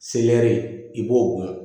Seleri i b'o dun